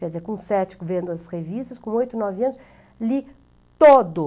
Quer dizer, com sete vendo as revistas, com oito, nove anos, li todo.